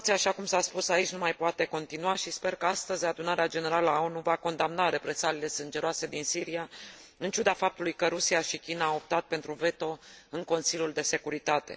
situație, așa cum s a spus aici, nu mai poate continua și sper că, astăzi, Adunarea Generală a ONU va condamna represaliile sângeroase din Siria, în ciuda faptului că Rusia și China au optat pentru veto în Consiliul de Securitate.